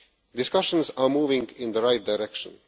Discussions are moving in the right direction.